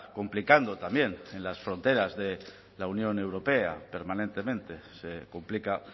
complicando también en las fronteras de la unión europea permanentemente se complica